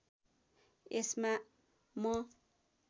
यसमा म